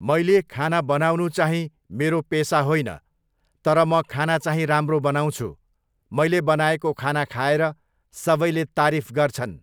मैले खाना बनाउनु चाहिँ मेरो पेसा होइन तर म खाना चाहिँ राम्रो बनाउँछु। मैले बनाएको खाना खाएर सबैले तारीफ गर्छन्।